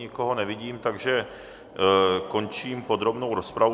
Nikoho nevidím, takže končím podrobnou rozpravu.